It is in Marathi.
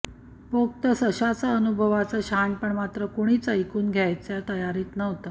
पोक्त सशाचं अनुभवाचं शहाणपण मात्र कुणीच ऐकून घ्यायच्या तयारीत नव्हतं